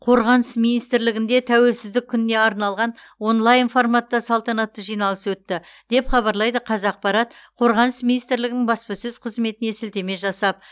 қорғаныс министрлігінде тәуелсіздік күніне арналған онлайн форматта салтанатты жиналыс өтті деп хабарлайды қазақпарат қорғаныс министрлігінің баспасөз қызметіне сілтеме жасап